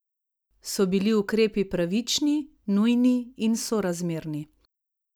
So bili ukrepi pravični, nujni in sorazmerni?